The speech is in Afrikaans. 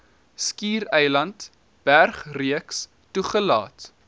skiereiland bergreeks toegelaat